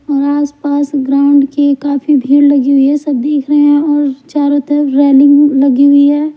और आसपास ग्राउंड के काफी भीड़ लगी हुई हैं सब देख रहे हैं और चारों तरफ रेलिंग लगी हुई है।